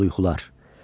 Qorxulu yuxular.